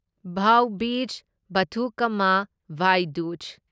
ꯚꯥꯎ ꯕꯤꯖ ꯕꯥꯊꯨꯀꯝꯃꯥ ꯚꯥꯢ ꯗꯨꯖ